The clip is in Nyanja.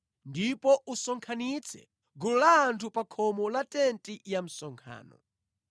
ndipo usonkhanitse gulu la anthu pa khomo la tenti ya msonkhano.”